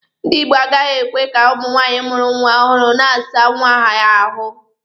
Ndi Igbo agaghị ekwe ka nwaanyị mụrụ nwa ọhụrụ na-asa nwa ya ahụ.